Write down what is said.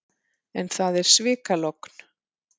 En það er svikalogn.